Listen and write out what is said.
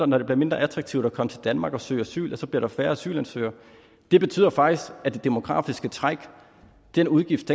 når det bliver mindre attraktivt at komme til danmark og søge asyl bliver der færre asylansøgere det betyder faktisk at det demografiske træk den udgift